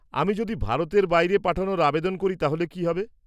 আমি যদি ভারতের বাইরে পাঠানোর আবেদন করি তাহলে কী হবে?